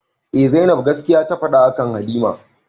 Eh zainab gaskiya ta faɗa akan halima